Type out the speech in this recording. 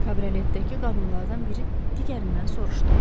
Kabrioletdəki qadınlardan biri digərindən soruşdu.